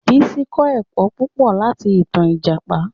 Bísí kọ́ ẹ̀kọ́ púpọ̀ láti ìtan Ìjàpá